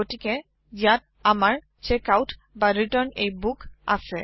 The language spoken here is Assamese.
গতিকে ইয়াত আমাৰ checkoutৰিটাৰ্ণ a বুক আছে